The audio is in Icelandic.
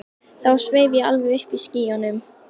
Þá sveif ég alveg uppi í skýjunum.